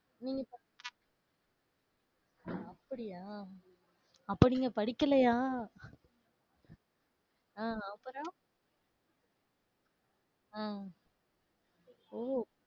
நீங்க ப~ அப்படியா? அப்ப, நீங்க படிக்கலையா? அஹ் அப்பறம் அஹ் ஓ